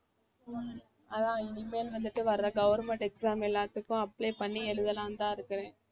அதான் இனிமேல் வந்துட்டு வர்ற government exam எல்லாத்துக்கும் apply பண்ணி எழுதலாம்னு தான் இருக்கேன்